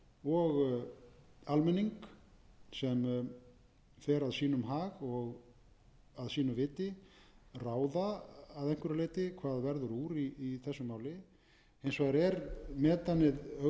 og almenning sem fer að sínum hag og að sínu viti ráða að einhverju leyti hvað verður úr í þessu máli hins vegar er metanið augljóslega eða kannski má